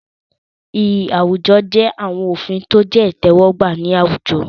Iyì àwùjọ jẹ́ àwọn òfin tó jẹ́ ìtẹ́wọ́gbà ní àwùjọ.